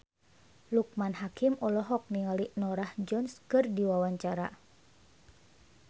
Loekman Hakim olohok ningali Norah Jones keur diwawancara